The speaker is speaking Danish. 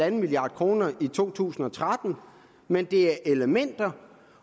en milliard kroner i to tusind og tretten men det er nogle elementer